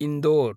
Indore